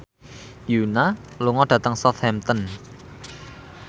Yoona lunga dhateng Southampton